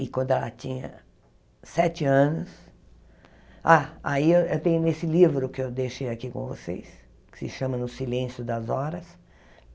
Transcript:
e quando ela tinha sete anos... Ah, aí eu eu tenho nesse livro que eu deixei aqui com vocês, que se chama No Silêncio das Horas.